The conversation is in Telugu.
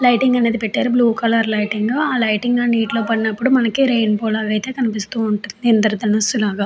లైటింగ్ అనేది పెట్టారు బ్లూ కలర్ లైటింగ్ ఆ లైటింగ్ అండ్ నీటిలో పడినప్పుడు మనకి రెయిన్బో లాగా ఐతే కనిపిస్తూ ఉంటుంది. ఇంద్రదానసు లాగా.